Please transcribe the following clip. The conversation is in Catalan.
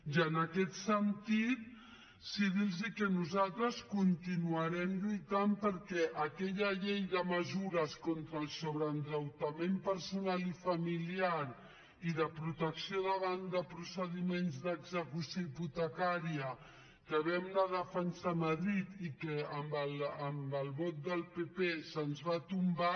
i en aquest sentit sí dirlos que nosaltres continuarem lluitant perquè aquella llei de mesures contra el sobreendeutament personal i familiar i de protecció davant de procediments d’execució hipotecària que vam anar a defensar a madrid i que amb el vot del pp se’ns va tombar